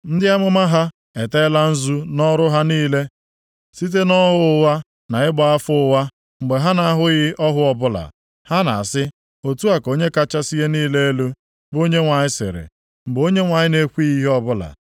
Ndị amụma ha eteela nzu nʼọrụ ha niile site nʼọhụ ụgha nʼịgba afa ụgha mgbe ha na-ahụghị ọhụ ọbụla. Ha na-asị, ‘Otu a ka Onye kachasị ihe niile elu, bụ Onyenwe anyị sịrị,’ mgbe Onyenwe anyị na-ekwughị ihe ọbụla.